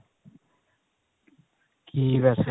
ਕੀ ਵੈਸੇ